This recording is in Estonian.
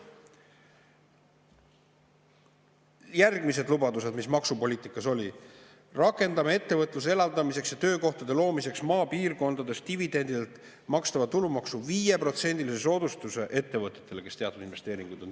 Järgmised lubadused, mis maksupoliitikas olid: rakendame ettevõtluse elavdamiseks ja töökohtade loomiseks maapiirkondades dividendidelt makstava tulumaksu 5%‑lise soodustuse ettevõtetele, kes on teinud teatud investeeringud.